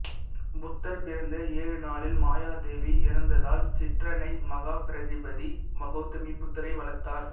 புத்தர் பிறந்த ஏழு நாளில் மாயாதேவி இறந்ததால் சிற்றன்னை மகாபிரஜாபதி கௌதமி புத்தரை வளர்த்தார்